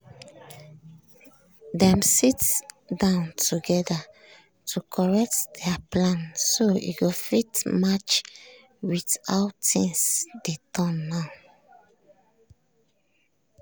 dem sit down together to correct their plan so e go fit match with how things dey turn now.